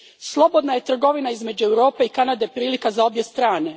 Slobodna je trgovina između Europe i Kanade prilika za obje strane.